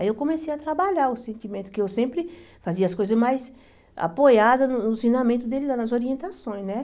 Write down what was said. Aí eu comecei a trabalhar o sentimento, porque eu sempre fazia as coisas mais apoiadas no ensinamento dele, nas orientações, né?